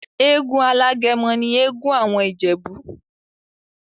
Egún alágẹmọ ni egún awọn Ijebu.